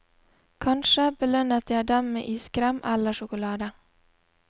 Kanskje belønnet jeg dem med iskrem eller sjokolade.